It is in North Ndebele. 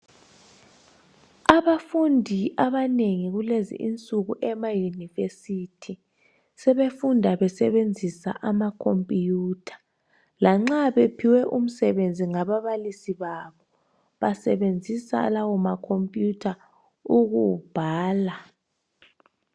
abafundi abanengi kulezinsuku ema university sebefunda basebenzisa ama computer lanxa bephiwe umsebenzi ngababalisi babo basebenzisa lawa ma computer ukuwubhala